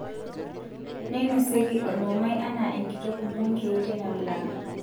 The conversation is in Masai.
Neinosieki olmumai anaa enkitok bungei teina wilaya